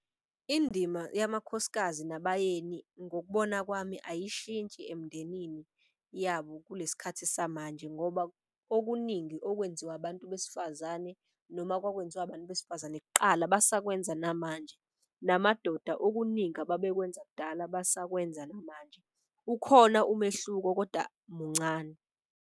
Indima yamakhosikazi nabayeni, ngokubona kwami ayishintshi emndenini yabo kule sikhathi samanje. Ngoba okuningi okwenziwa abantu besifazane noma kwakwenziwa abantu besifazane kuqala basakwenza namanje. Namadoda okuningi ababekwenza kudala basakwenza namanje, ukhona umehluko koda muncane.